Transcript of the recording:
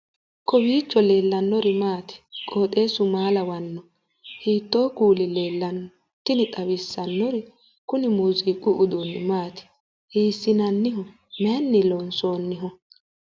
kowiicho leellannori maati ? qooxeessu maa lawaanno ? hiitoo kuuli leellanno ? tini xawissannori kuni muziiqu uduunni maati hiissinanniho mayinni loonsoonniho